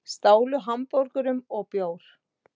Stálu hamborgurum og bjór